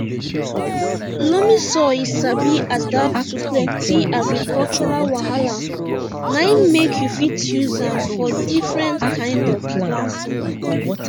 loamy soil sabi adapt to plenti agricultural wahala na im make you fit use am for differnt kind of planting